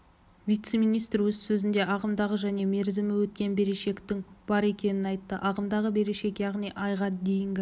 вице-министр өз сөзінде ағымдағы және мерзімі өткен берешектің бар екенін айтты ағымдағы берешек яғни айға дейінгі